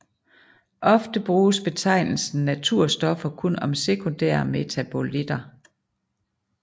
Ofte bruges betegnelsen naturstoffer kun om sekundære metabolitter